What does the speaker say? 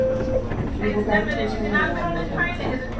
tjugofem tusen niohundrafemton